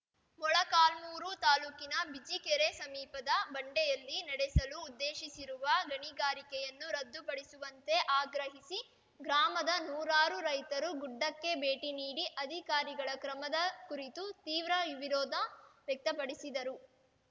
ಮೊಳಕಾಲ್ಮುರು ತಾಲೂಕಿನ ಬಿಜಿಕೆರೆ ಸಮೀಪದ ಬಂಡೆಯಲ್ಲಿ ನಡೆಸಲು ಉದ್ದೇಶಿಸಿರುವ ಗಣಿಗಾರಿಕೆಯನ್ನು ರದ್ದು ಪಡಿಸುವಂತೆ ಆಗ್ರಹಿಸಿ ಗ್ರಾಮದ ನೂರಾರು ರೈತರು ಗುಡ್ಡಕ್ಕೆ ಭೇಟಿ ನೀಡಿ ಅಧಿಕಾರಿಗಳ ಕ್ರಮದ ಕುರಿತು ತೀವ್ರ ವಿರೋಧ ವ್ಯಕ್ತಪಡಿಸಿದರು